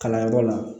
Kalanyɔrɔ la